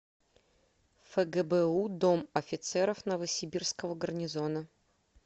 фгбу дом офицеров новосибирского гарнизона